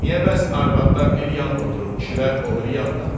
Niyə bəs arvadlar bir yan otruub, kişilər o biri yanda?